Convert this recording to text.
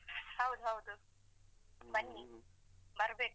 ಹೌದು ಹೌದು. ಬನ್ನಿ ಬರ್ಬೇಕು.